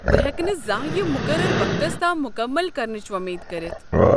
بہٕ ہیكہٕ نہٕ زانٛہہ یِم مقررٕ وقتس تام مٗكمل كرنٕچ وۄمید كٔرِتھ۔